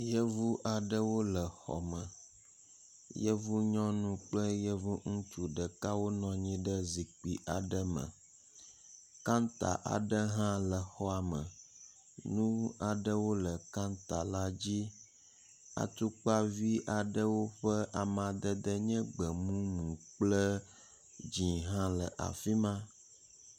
Yevu aɖewo le xɔme. Yevu nyɔnu kple yevu ŋutsu wonɔ anyi ɖe zikpui aɖe me. Kanta aɖe hã le xɔa me. Nu aɖewo le kanta la dzi. Atukpavi aɖewo ƒe amadede nye gbemumu kple dzĩ hã le afi ma.